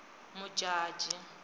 modjadji